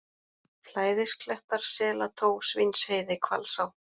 Flæðisklettar, Selató, Svínheiði, Hvalsá